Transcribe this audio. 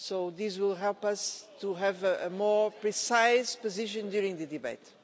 This will help us to have a more precise position during the debate.